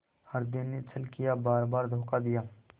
हृदय ने छल किया बारबार धोखा दिया